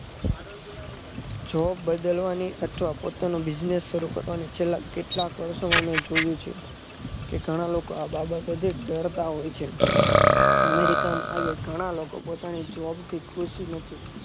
Job બદલવાની અથવા પોતાનો business શરુ કરવાની છેલ્લા કેટલાક વર્ષો જોયું છે કે ઘણા લોકો આ બાબતોથી ડરતા હોય છે america માં આજે ઘણા લોકો જોબથી ખુશ નથી